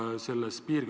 Tänan küsimuse eest!